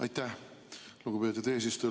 Aitäh, lugupeetud eesistuja!